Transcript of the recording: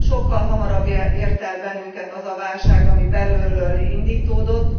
Sokkal hamarabb ért el bennünket az a válság, ami belülről indítódott.